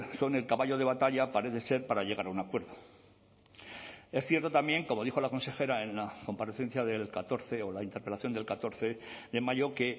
son el caballo de batalla parece ser para llegar a un acuerdo es cierto también como dijo la consejera en la comparecencia del catorce o la interpelación del catorce de mayo que